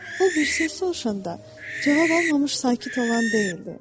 O bir söz soruşanda cavab almamış sakit olan deyildi.